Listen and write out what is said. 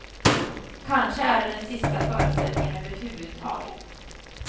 Kanske är det den sista föreställningen överhuvudtaget.